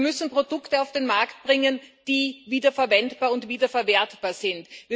Wir müssen Produkte auf den Markt bringen, die wiederverwendbar und wiederverwertbar sind.